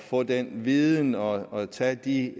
få den viden og tage de